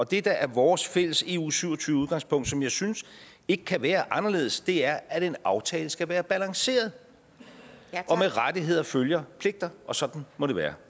det der er vores fælles eu syv og tyve udgangspunkt som jeg synes ikke kan være anderledes er at en aftale skal være balanceret med rettigheder følger pligter og sådan må det være